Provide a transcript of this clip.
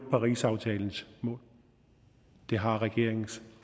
parisaftalens mål det har regeringens